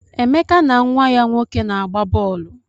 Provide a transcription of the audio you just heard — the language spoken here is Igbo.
Emeka na nwa ya nwoke na-agba bọọlụ.